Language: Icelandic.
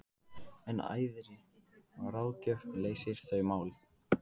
En æðri ráðgjöf leysir þau mál.